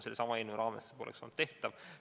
Sellesama eelnõu raames see poleks olnud tehtav.